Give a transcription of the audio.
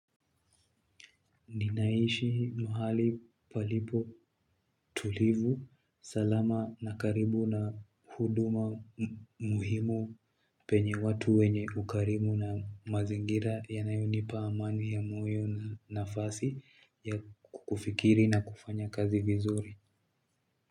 Ninaishi mahali palipo tulivu. Salama na karibu na huduma muhimu penye watu wenye ukarimu na mazingira yanayonipa amani ya moyo na nafasi ya kufikiri na kufanya kazi vizuri.